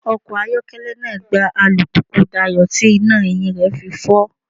Ọkọ̀ ayokele náà gbá alùpùpù Dayọ̀ tí iná ẹ̀yìn rẹ̀ fi fọ́.